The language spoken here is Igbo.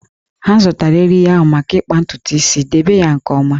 Ha zụtara eriri ahụ maka ịkpa ntutu isi, debe ya nke ọma!